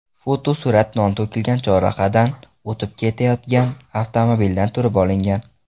Fotosurat non to‘kilgan chorrahadan o‘tib ketayotgan avtomobildan turib olingan.